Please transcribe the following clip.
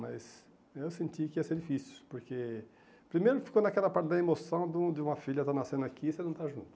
Mas eu senti que ia ser difícil, porque primeiro ficou naquela parte da emoção do de uma filha estar nascendo aqui e você não estar junto.